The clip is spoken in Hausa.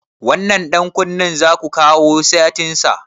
Wannan ɗan kunnen zaku kawo setin sa?